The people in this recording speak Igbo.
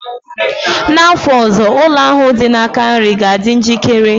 Na afọ ọzọ, ụlọ ahụ dị na aka nri ga-adị njikere?